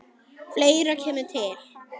Fleira kemur til.